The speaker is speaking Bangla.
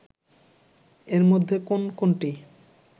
এর মধ্যে কোন কোনটি